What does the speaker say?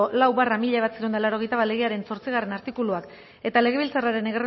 lau barra mila bederatziehun eta laurogeita bat legearen zortzigarrena artikuluak eta legebiltzarraren